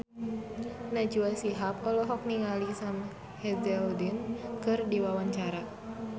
Najwa Shihab olohok ningali Sam Hazeldine keur diwawancara